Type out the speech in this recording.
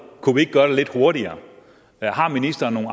kunne vi ikke gøre det lidt hurtigere har ministeren nogle